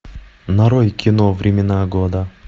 нарой кино времена года